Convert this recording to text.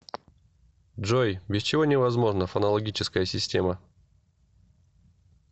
джой без чего невозможна фонологическая система